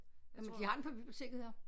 Jamen de har den på biblioteket her